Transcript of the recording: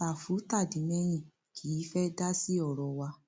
ṣàfù tàdí mẹyìn kì í fẹẹ dá sí ọrọ wa